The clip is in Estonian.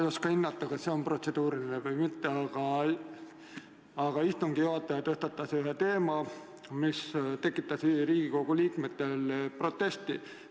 Ma ei oska hinnata, kas see on protseduuriline küsimus või mitte, aga istungi juhataja tõstatas ühe teema, mis tekitas Riigikogu liikmetes protesti.